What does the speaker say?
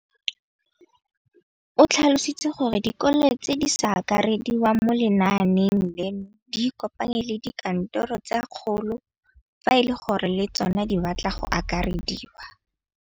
O tlhalositse gore dikolo tse di sa akarediwang mo lenaaneng leno di ikopanye le dikantoro tsa kgaolo fa e le gore le tsona di batla go akarediwa.